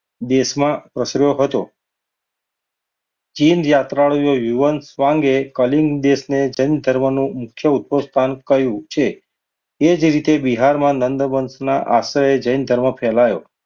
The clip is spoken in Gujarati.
દેશમાં પ્રસર્યો હતો. ચીન યાત્રાળુ યુવાંશ યુ એન સાંગે કલિંગ દેશને જૈન ધર્મનો મુખ્ય સ્થાનનું કહ્યું છે એ જ રીતે બિહારમાં નંદવંશ ના આશ્રય જૈન ધર્મ ફેલાયો.